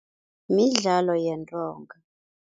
Midlalo yentonga.